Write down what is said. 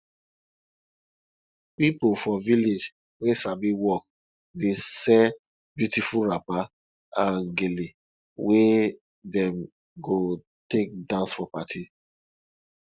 pipo for village wey sabi work dey sell beautiful wrapper and gele wey dem go take dance for party